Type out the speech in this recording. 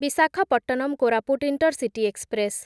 Visakhapatnam Koraput intercity express